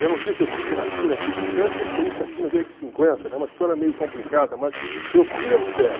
Eu não sei se eu estive na China, que o Tibete pertence à China desde cinquenta, né, é uma história meio complicada, mas eu fui ao Tibete.